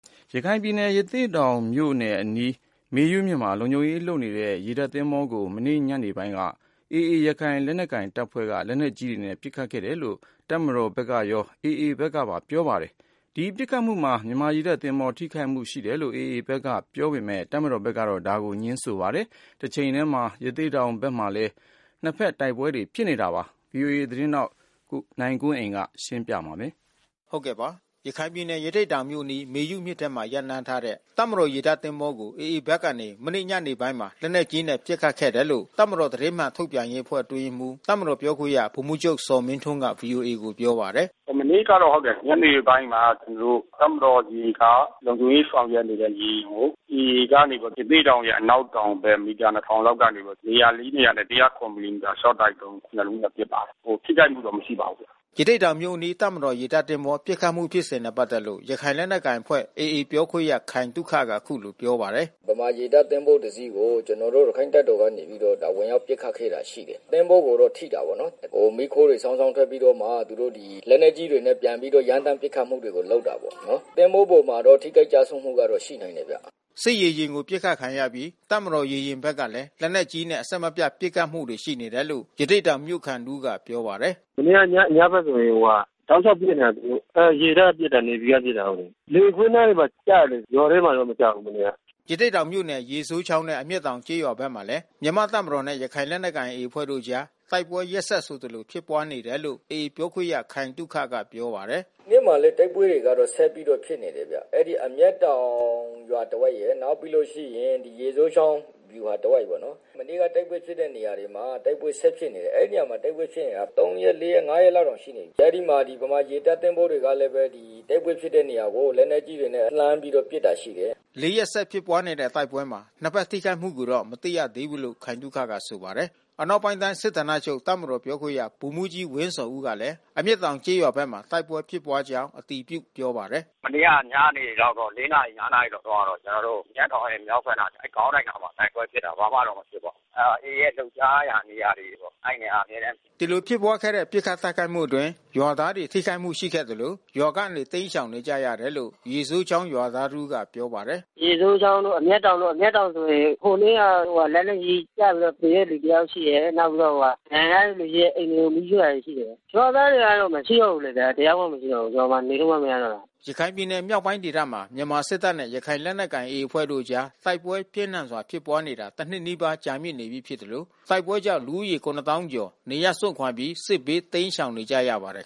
ရခိုင်ပြည်နယ် ရသေ့တောင်မြို့အနီး မေယုမြစ်မှာ လုံခြုံရေးဆောင်ရွက်နေတဲ့ ရေတပ်သင်္ဘောကို မနေ့ညနေပိုင်းမှာ AA ရခိုင်လက်နက်ကိုင်အဖွဲ့က တိုက်ခိုက်ခဲ့လို့ လက်နက်ကြီးတွေနဲ့ အပြန်အလှန်ပစ်ခတ်မှုတွေ ရှိခဲ့ပါတယ်။ ဒီပစ်ခတ်မှုမှာ မြန်မာရေတပ်သင်္ဘောဘက်က ထိခိုက်မှုရှိတယ်လို့ AA ဘက်ကပြောဆိုနေပေမဲ့ တပ်မတော်ဘက်ကတော့ တစုံတရာ ထိခိုက်မှု မရှိဘူးလို့ဆိုပါတယ်။ တချိန်ထဲမှာ ရသေ့တောင်မြို့နယ်အတွင်း နှစ်ဘက်တိုက်ပွဲတွေ ဖြစ်ပွားနေပါတယ်။ ဗွီအိုအေမြန်မာပိုင်းသတင်းထောက် နိုင်ကွန်းအိန်ကနေ သတင်းပေးပို့ထားပါတယ်။ ရခိုင်ပြည်နယ် ရသေ့တောင်မြို့အနီး မေယုမြစ်ထဲမှာ ရပ်နားထားတဲ့ တပ်မတော်ရေတပ်သင်္ဘောကို AA ဘက်ကနေ မနေ့ညနေပိုင်းမှာ လက်နက်ကြီးနဲ့ ပစ်ခတ်ခဲ့တယ်လို့ တပ်မတော် သတင်းမှန်ထုတ်ပြန်ရေးအဖွဲ့ အတွင်းရေးမှူး တပ်မတော်ပြောခွင့်ရဗိုလ်မှူးချုပ်ဇော်မင်းထွန်းက ဗွီအိုအေကို ပြောပါတယ်။ “မနေ့ကတော့ဟုတ်တယ်။ ညနေပိုင်းမှာ ကျနော်တို့ တပ်မတော်ရေက လုံခြုံရေးဆောင်ရွက်နေတဲ့ ရေယာဉ်ကို AA ကနေပြီးတော့ ရသေ့တောင်ရဲ့ အနောက်တောင်ဘက် မီတာ ၂၀၀၀ လောက်ကနေပြီးတော့ နေရာ ၄ နေရာနဲ့ ၁၀၇မီလီမီတာလျှော့တိုက်ဒုံး ၂ လုံးနဲ့ ပစ်ပါတယ်။ ထိခိုက်မှုတော့ မရှိပါဘူး။” ရသေ့တောင်မြို့အနီး တပ်မတော်ရေတပ်သင်္ဘော ပစ်ခတ်မှုဖြစ်စဉ်နဲ့ ပတ်သက်လို့ ရခိုင်လက်နက်ကိုင်အဖွဲ့ AA ပြောခွင့်ရခိုင်သုခက အခုလိုပြောပါတယ်။ “ဗမာရေတပ်သင်္ဘော တစီးကို ကျနော်တို့ ရခိုင့်တပ်တော်ကနေပြီးတော့ ဝင်ရောက်ပစ်ခတ်တာ ရှိတယ်။ သင်္ဘောကိုတော့ ထိတာပေါ့နော်။ မီးခိုးတွေ စောင်းစောင်းထွက်ပြီးတော့မှ သူတို့ဒီ လက်နက်ကြီးတွေနဲ့ ပြန်ပြီးတော့ ရမ်းသန်း ပစ်ခတ်မှုတွေ လုပ်တာပေါ့နော်။ သင်္ဘောပေါ်မှတော့ ထိခိုက်ကျဆုံးမှုတော့ ရှိနိုင်တယ်ဗျ။” စစ်ရေယာဉ်ကိုပစ်ခတ်ခံရအပြီး တပ်မတော်ရေယာဉ်ဘက်ကလည်း လက်နက်ကြီးနဲ့ အဆက်မပြတ် ပစ်ခတ်မှုတွေ ရှိနေတယ်လို့ ရသေ့တောင်မြို့ခံ တဦးက ပြောပါတယ်။ “မနေ့က ညဘက်ဆိုရင် တလျှောက် ပစ်နေတယ်သူတို့က။ အဲရေတပ်ကပစ်တာ NAVY က ပစ်တာ။ လယ်ကွင်း နားမှာကျတယ်။ ရွာထဲမှာ မကျဘူး မနေ့က။” ရသေ့တောင်မြို့နယ် ရေစိုးချောင်းနဲ့ အမျက်တောင်ကျေးရွာဘက်မှာလည်း မြန်မာ့တပ်မတော်နဲ့ ရခိုင်လက်နက်ကိုင် AA အဖွဲ့တို့အကြား တိုက်ပွဲ ရက်ဆက်ဆိုသလို ဖြစ်ပွားနေတယ်လို့ AA ပြောခွင့်ရခိုင်သုခကပြောပါတယ်။ “ဒီနေ့မှာလည်း တိုက်ပွဲကတော့ ဆက်ပြီးဖြစ်နေတယ်ဗျ။ အဲဒီအမျက်တောင်ရွာ တဝိုက်ရယ်။ နောက်ပြီးတော့ရေစိုးချောင်း ဗျူဟာတဝိုက်ပေါ့နော်။ မနေ့က တိုက်ပွဲဖြစ်တဲ့နေရာတွေမှာ တိုက်ပွဲဆက်ဖြစ်နေတယ်။ အဲဒီနေရာမှာ တိုက်ပွဲ ဖြစ်နေတာ ၃ ရက်၊ ၄ ရက်၊ ၅ ရက်လောက်တောင် ရှိနေပြီး။ အဲဒီမှာ ဗမာရေတပ်သင်္ဘောတွေကလဲပဲ တိုက်ပွဲဖြစ်ပွားတဲ့ နေရာကို လက်နက်ကြီးတွေနဲ့ လှမ်းပြီး ပစ်တာရှိတယ်။” ၄ ရက်ဆက်ဖြစ်ပွါးတဲ့တိုက်ပွဲမှာ နှစ်ဘက် ထိခိုက်မှုကိုတော့ မသိရသေးဘူးလို့ ခိုင်သုခကဆိုပါတယ်။ အနောက် ပိုင်းတိုင်းစစ်ဌာနချုပ် တပ်မတော်ပြောခွင့်ရ ဗိုလ်မှူးကြီးဝင်းဇော်ဦးကလည်း အမျက်တောင်ကျေးရွာဘက်မှာ တိုက်ပွဲဖြစ်ပွါးကြောင်း အတည်ပြုပြောပါတယ်။ “မနေ့ကညနေလောက်တော့ ၄ နာရီ ၅ နာရီလောက်တော့ ကျနော်တို့မျက်တောင်ရဲ့ မြောက်ဘက်နား ခေါင်းတိုက် အနားမှာတိုက်ပွဲဖြစ်တာ။ ဘာမှတော့မဖြစ်ပါဘူး။ အဲတာ AA ရဲ့ လှုပ်ရှားရာ နေရာတွေဆိုတော့ အဲဒီနေရာတွေ အမြဲတမ်းဖြစ်တယ်။” ဒီလိုဖြစ်ပွါးခဲ့တဲ့ ပစ်ခတ်တိုက်ခိုက်မှုအတွင်း ရွာသားတွေ ထိခိုက်မှု ရှိခဲ့သလို ရွာကနေ တိမ်းရှောင်နေကြရတယ်လို့ ရေစိုးချောင်းရွာသား တဦးကပြောပါတယ်။ “ရေစိုးချောင်းတို့ အမျက်တောင်တို့။ အမျက်တောင်ဆိုရင် ဟိုနေ့က လက်နက်ကြီးကျလို့ သေတဲ့ လူတယောက်ရှိတယ်။ နောက်ပြီးတော့ဒဏ်ရာရတဲ့သူရဲ့ အိမ်တွေကို မီးရှို့တာတွေရှိတယ်။ ရွာသားတွေကတော့ မရှိတော့ဘူး။ ရွာမှာ နေလို့မှ မရတော့တာ။” ရခိုင်ပြည်နယ်မြောက်ပိုင်းဒေသမှာ မြန်မာ့စစ်တပ်နဲ့ ရခိုင်လက်နက်ကိုင် AA အဖွဲ့တို့အကြား တိုက်ပွဲပြင်းထန်စွာ ဖြစ်ပွားနေတာ တနှစ်နီးပါးကြာမြင့်နေပြီး ဖြစ်သလို တိုက်ပွဲကြောင့်လူဦးရေ ၇၀၀၀၀ ကျော် နေရပ်စွန့်ခွာပြီး စစ်ဘေးတိမ်းရှောင်နေရပါတယ်